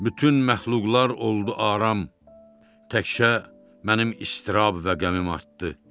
Bütün məxluqlar oldu aram, təkcə mənim istirab və qəmim artdı.